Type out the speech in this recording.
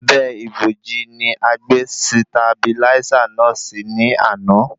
Abẹ́ ìbòji ni a gbé sitabiláísà náà si ní àná